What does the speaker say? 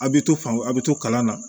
A bɛ to fan a bɛ to kalan na